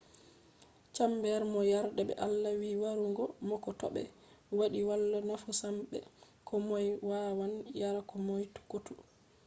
chambers mo yardai be allah wi yarugo mo ko to ɓe waɗi wala nafu sam” be ko moy wawan yara ko moy kotu.